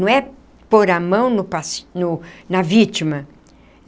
Não é pôr a mão no paci no na vítima.